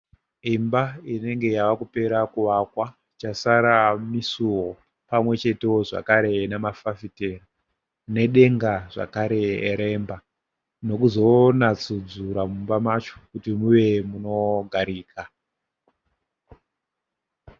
Imba inenge yava kupera kuvakwa chasara misuwo pamwe chetewo zvakare nemafafitera nedenga zvakareremba nekuzonatsurudza mumba macho kuti muve munogarika